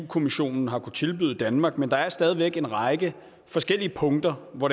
kommissionen har kunnet tilbyde danmark men der er stadig væk en række forskellige punkter hvor